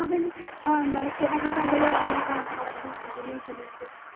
আমাদের অ্যা মানে কেনাকাটা হলে আমি আর আমার husband দুজনেই চলে যাই